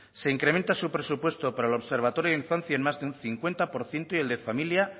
se incrementa su presupuesto para el observatorio de infancia en más de un cincuenta por ciento y el de familia